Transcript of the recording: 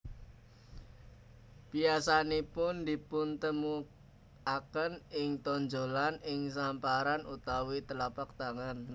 Biasanipun dipuntemuaken ing tonjolan ing samparan utawi telapak tangan